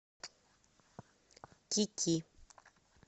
ки ки